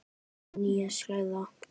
Prenta þarf nýja seðla.